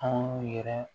Anw yɛrɛ